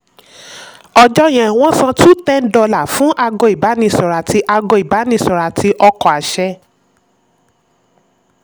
ọjọ́ yẹn um wọ́n san two ten dollars fún ago ìbánisọ̀rọ̀ àti ago ìbánisọ̀rọ̀ àti ọkọ̀ àṣẹ.